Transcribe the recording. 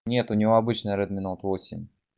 нет у него обычный редми ноут восемь